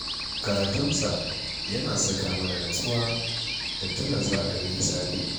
Karatunsa yana saka mana nutsuwa da tuna za a yi hisabi.